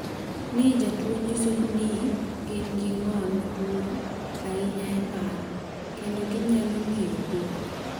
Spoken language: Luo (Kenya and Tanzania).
ny jotuwo nyiso ni gin gi ng’ol maduong’ ahinya e paro, kendo ginyalo ng’iyo dhok.